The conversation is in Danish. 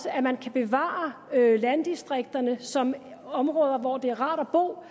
at man kan bevare landdistrikterne som områder hvor det er rart at bo hvor